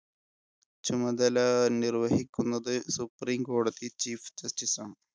ചുമതല നിർവഹിക്കുന്നത് supreme കോടതി chief justice ആണ്.